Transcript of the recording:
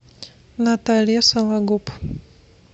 наталья сологуб